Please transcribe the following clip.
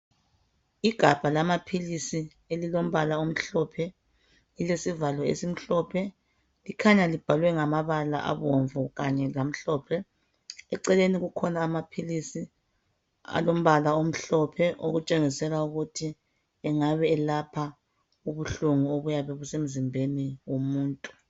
Igabha lamaphilisi elilombala omhlophe. Lilesivalo esimhlophe likhanya libhalwe ngamabala abomvu kanye lamhlophe. Eceleni kukhona amaphilisi alombala omhlophe okutshengisela ukuthi engabe elapha ubuhlungu obuyabe busemzimbeni womuntu.